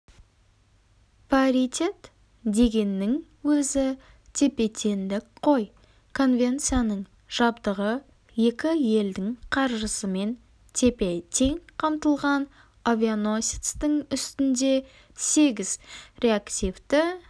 паритет дегеннің өзі тепе-теңдік қой конвенцияның жабдығы екі елдің қаржысымен тепе-тең қамтылған авианосецтің үстінде сегіз реактивті